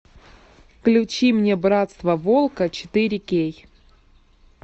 включи мне братство волка четыре кей